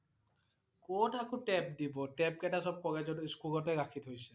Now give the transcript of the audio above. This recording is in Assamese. কত আকৌ tab দিব। tab কেইটা সব কলেজত~স্কুলতে ৰাখি থৈছে